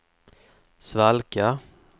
svalka